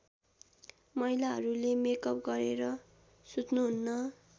महिलाहरूले मेकअप गरेर सुत्नुहुन्न